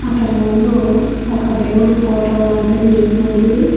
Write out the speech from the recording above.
అతని ముందు ఒక దేవుడి ఫోటో లాంటిది ఉంది.